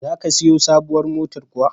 Za ka siyo sabuwar motar kuwa?